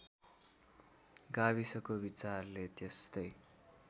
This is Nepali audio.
गाविसको विचारले त्यस्तै